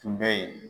Tun bɛ yen